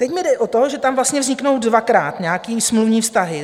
Teď mi jde o to, že tam vlastně vzniknou dvakrát nějaké smluvní vztahy.